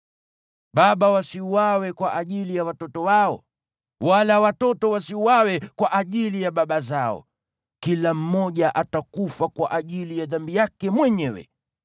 Baba wasiuawe kwa ajili ya watoto wao, wala watoto wasiuawe kwa ajili ya baba zao; kila mmoja atakufa kwa ajili ya dhambi yake mwenyewe.